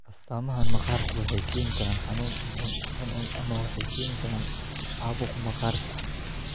Astaamahan maqaarku waxay keeni karaan xanuun, cuncun, cuncun, ama waxay keenaan caabuq maqaarka ah.